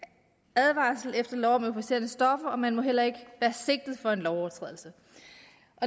advarsel efter lov om euforiserende stoffer og man må heller ikke være sigtet for en lovovertrædelse